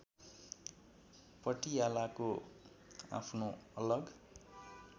पटियालाको आफ्नो अलग